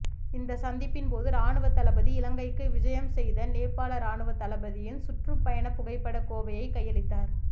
இந்த சந்திப்பின் போது இராணுவத் தளபதி இலங்கைக்கு விஜயம் செய்த நேபாள இராணுவத்தளபதியின் சுற்றுப் பயண புகைப்படக் கோவையை கையளித்தார்